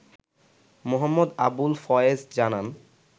মো. আবুল ফয়েজ জানান